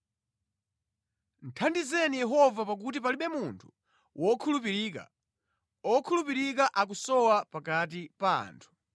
Thandizeni Yehova pakuti palibe munthu wokhulupirika; okhulupirika akusowa pakati pa anthu.